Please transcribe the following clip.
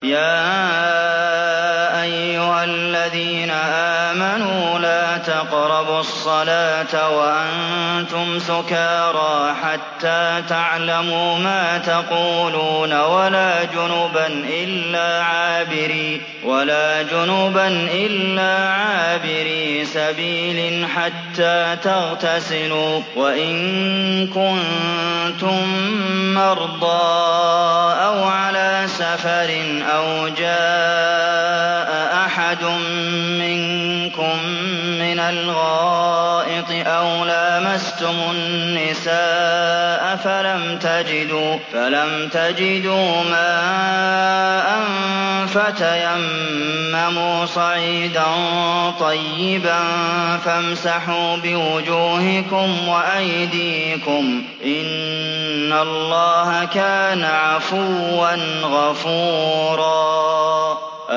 يَا أَيُّهَا الَّذِينَ آمَنُوا لَا تَقْرَبُوا الصَّلَاةَ وَأَنتُمْ سُكَارَىٰ حَتَّىٰ تَعْلَمُوا مَا تَقُولُونَ وَلَا جُنُبًا إِلَّا عَابِرِي سَبِيلٍ حَتَّىٰ تَغْتَسِلُوا ۚ وَإِن كُنتُم مَّرْضَىٰ أَوْ عَلَىٰ سَفَرٍ أَوْ جَاءَ أَحَدٌ مِّنكُم مِّنَ الْغَائِطِ أَوْ لَامَسْتُمُ النِّسَاءَ فَلَمْ تَجِدُوا مَاءً فَتَيَمَّمُوا صَعِيدًا طَيِّبًا فَامْسَحُوا بِوُجُوهِكُمْ وَأَيْدِيكُمْ ۗ إِنَّ اللَّهَ كَانَ عَفُوًّا غَفُورًا